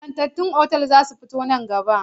Ingantattun otal za su fito nan gaba.